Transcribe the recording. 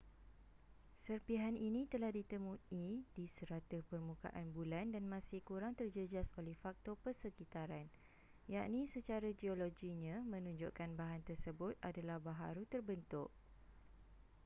serpihan ini telah ditemui di serata permukaan bulan dan masih kurang terjejas oleh faktor persekitaran yakni secara geologinya menunjukkan bahan tersebut adalah baharu terbentuk